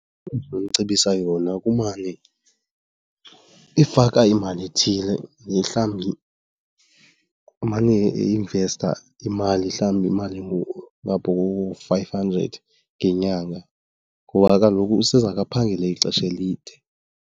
Endinomcebisa yona kumane efaka imali ethile, mhlawumbi emane einvesta imali mhlawumbi imali engapha koo-five hundred ngenyanga ngoba kaloku usezake aphangele ixesha elide.